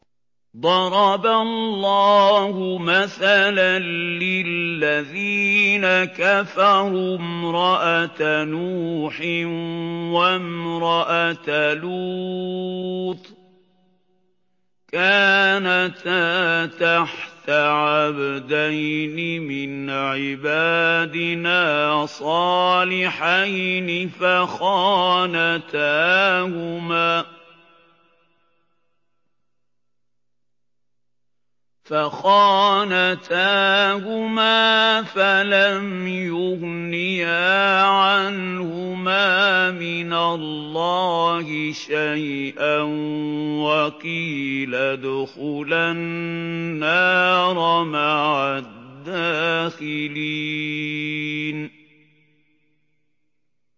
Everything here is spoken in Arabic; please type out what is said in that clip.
ضَرَبَ اللَّهُ مَثَلًا لِّلَّذِينَ كَفَرُوا امْرَأَتَ نُوحٍ وَامْرَأَتَ لُوطٍ ۖ كَانَتَا تَحْتَ عَبْدَيْنِ مِنْ عِبَادِنَا صَالِحَيْنِ فَخَانَتَاهُمَا فَلَمْ يُغْنِيَا عَنْهُمَا مِنَ اللَّهِ شَيْئًا وَقِيلَ ادْخُلَا النَّارَ مَعَ الدَّاخِلِينَ